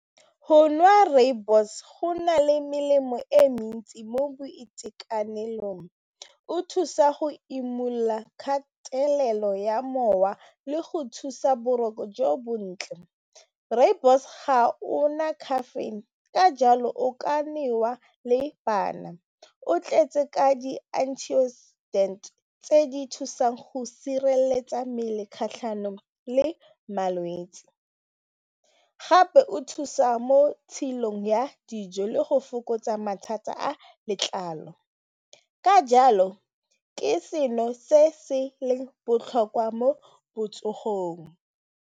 Go nwa rooibos go na le melemo e mentsi mo boitekanelong, o thusa go imolola kgatelelo ya mowa le go thusa boroko jo bontle rooibos ga o na caffeine ka jalo o ka newa le bana o tletse ka di tse di thusang go sireletsa mmele kgatlhanong le malwetsi gape o thusa mo tshilong ya dijo le go fokotsa mathata a letlalo ka jalo ke seno se se leng botlhokwa mo botsogong.